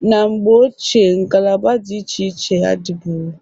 Na mgbe ochie ngalaba di iche iche adịbụro.